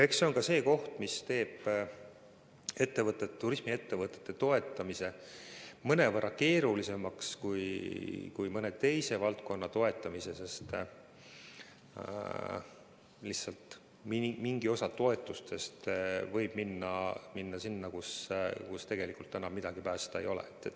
Eks see on see, mis teeb turismiettevõtete toetamise mõnevõrra keerulisemaks kui mõne teise valdkonna toetamise, sest mingi osa toetustest võib minna sinna, kus tegelikult enam midagi päästa ei ole.